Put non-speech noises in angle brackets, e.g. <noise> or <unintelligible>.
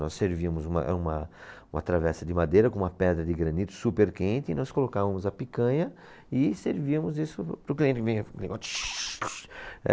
Nós servíamos uma, uma, uma travessa de madeira com uma pedra de granito super quente e nós colocávamos a picanha e servíamos isso para o cliente. <unintelligible>